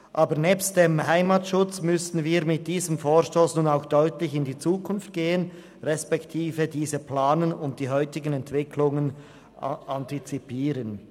Aber nebst dem Heimatschutz müssen wir mit diesem Vorstoss auch deutlich in die Zukunft gehen respektive diese planen und die heutigen Entwicklungen antizipieren.